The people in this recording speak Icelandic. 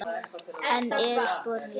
Enn eru sporin létt.